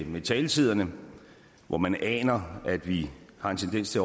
med taletiderne hvor man aner at vi har en tendens til